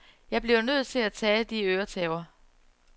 Jeg bliver nødt til at tage de øretæver.